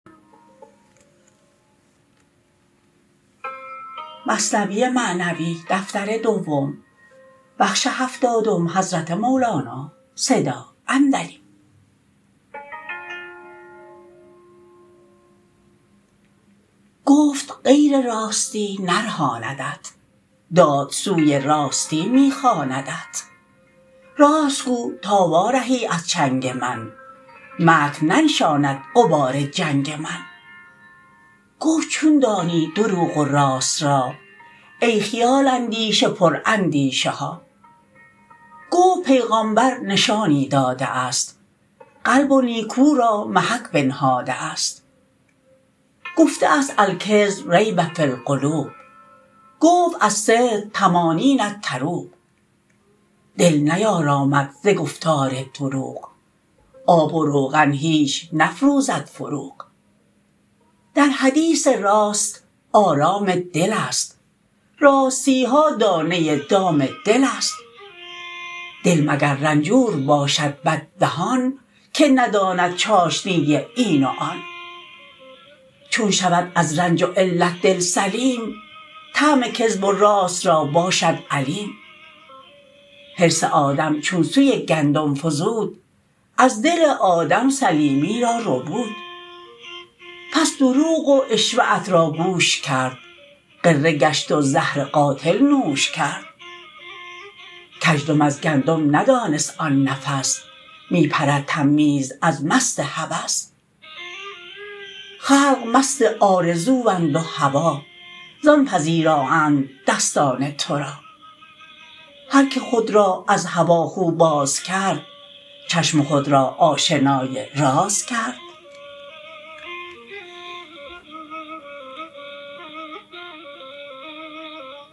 گفت غیر راستی نرهاندت داد سوی راستی می خواندت راست گو تا وا رهی از چنگ من مکر ننشاند غبار جنگ من گفت چون دانی دروغ و راست را ای خیال اندیش پر اندیشه ها گفت پیغامبر نشانی داده است قلب و نیکو را محک بنهاده است گفته است الکذب ریب فی القلوب گفت الصدق طمانین طروب دل نیارامد ز گفتار دروغ آب و روغن هیچ نفروزد فروغ در حدیث راست آرام دلست راستیها دانه دام دلست دل مگر رنجور باشد بد دهان که نداند چاشنی این و آن چون شود از رنج و علت دل سلیم طعم کذب و راست را باشد علیم حرص آدم چون سوی گندم فزود از دل آدم سلیمی را ربود پس دروغ و عشوه ات را گوش کرد غره گشت و زهر قاتل نوش کرد کزدم از گندم ندانست آن نفس می پرد تمییز از مست هوس خلق مست آرزواند و هوا زان پذیرااند دستان تو را هر که خود را از هوا خو باز کرد چشم خود را آشنای راز کرد